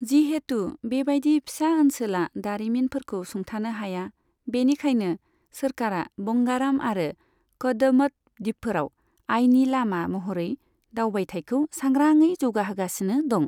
जिहेतु बेबायदि फिसा ओनसोला दारिमिनफोरखौ सुंथानो हाया, बेनिखायनो सोरखारा बंगाराम आरो कदमत दिपफोराव आयनि लामा महरै दावबायथाइखौ सांग्राङै जौगाहोगासिनो दं।